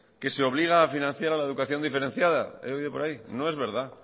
que se obliga a financiar la educación diferenciada he oído por ahí no es verdad